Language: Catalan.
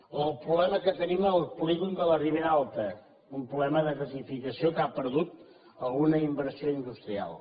o el problema que tenim al polígon de la ribera alta un problema de gasificació que ha perdut alguna inversió industrial